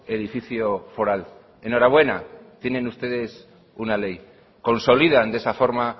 edificio foral enhorabuena tienen ustedes una ley consolidan de esa forma